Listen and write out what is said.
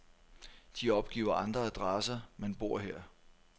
De opgiver andre adresser, men bor her.